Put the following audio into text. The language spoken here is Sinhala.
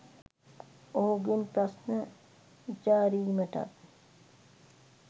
ඔහුගෙන් ප්‍රශ්න විචාරීමටත්